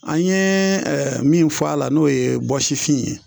An ye min fɔ a la n'o ye bɔsifin ye